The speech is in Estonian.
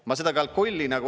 Ma seda ……